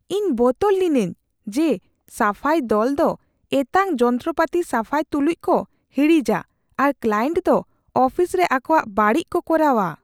ᱤᱧ ᱵᱚᱛᱚᱨ ᱞᱤᱱᱟᱹᱧ ᱡᱮ ᱥᱟᱯᱷᱟᱭ ᱫᱚᱞ ᱫᱚ ᱮᱛᱟᱝ ᱡᱚᱱᱛᱨᱚᱼᱯᱟᱹᱛᱤ ᱥᱟᱯᱷᱟᱭ ᱛᱩᱞᱩᱡ ᱠᱚ ᱦᱤᱲᱤᱡᱟ ᱟᱨ ᱠᱞᱟᱭᱮᱱᱴ ᱫᱚ ᱚᱯᱷᱤᱥ ᱨᱮ ᱟᱠᱚᱣᱟᱜ ᱵᱟᱹᱲᱤᱡ ᱠᱚ ᱠᱚᱨᱟᱣᱟ ᱾